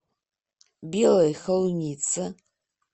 белой холунице